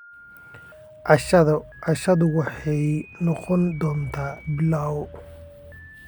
Cashadeydu waxay noqon doontaa pilau.